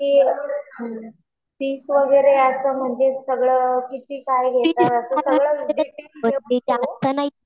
बाकी फीस वगैरे असं म्हणजे सगळं किती काय घेतात?